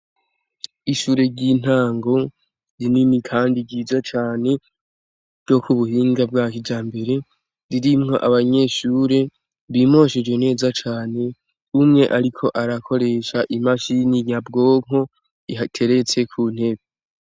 Ishure ry'intango rinini kandi ryiza cane ryo ku buhinga bwa kijambere ririmwo abanyeshure bimosheje neza cane. Umwe ariko arakoresha imashini nyabwonko ihateretse ku ntebe.